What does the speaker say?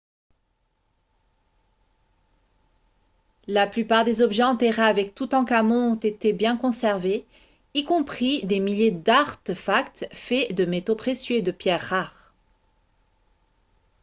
la plupart des objets enterrés avec toutankhamon ont été bien conservés y compris des milliers d'artefacts faits de métaux précieux et de pierres rares